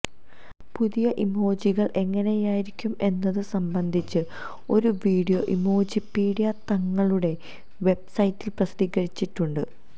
പുതിയ ഇമോജികൾ എങ്ങനെയായിരിക്കും എന്നതു സംബന്ധിച്ച് ഒരു വീഡിയോ ഇമോജിപീഡിയ തങ്ങളുടെ വെബ്സൈറ്റിൽ പ്രസിദ്ധീകരിച്ചിട്ടുണ്ട്